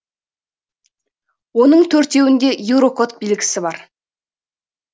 оның төртеуінде еурокод белгісі бар